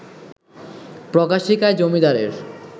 প্রকাশিকায় জমিদারের